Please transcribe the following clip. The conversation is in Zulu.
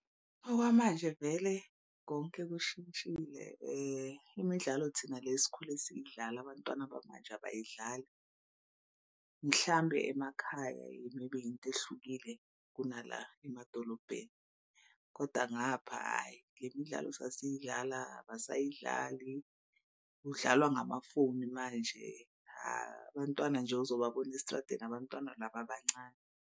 Okwamanje vele konke kushintshile imidlalo thina le sikhule siyidlala abantwana bamanje abayidlali. Mhlambe emakhaya maybe into ehlukile kunala emadolobheni koda ngapha hhayi le midlalo sasiyidlala abasayidlali kudlalwa ngamafoni manje. Abantwana nje uzobabona estradeni abantwana laba abancane.